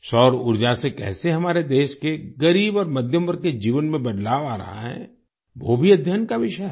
सौर ऊर्जा से कैसे हमारे देश के गरीब और मध्यम वर्ग के जीवन में बदलाव आ रहा है वो भी अध्ययन का विषय है